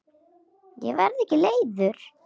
Ég verð ekki leiður.